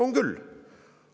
On küll!